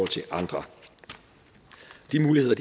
til andre de muligheder